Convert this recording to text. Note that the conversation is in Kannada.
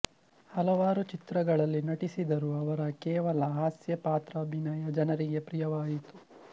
ಹಲವಾರು ಚಿತ್ರಗಳಲ್ಲಿ ನಟಿಸಿದರೂ ಅವರ ಕೇವಲ ಹಾಸ್ಯಪಾತ್ರಾಭಿನಯ ಜನರಿಗೆ ಪ್ರಿಯವಾಯಿತು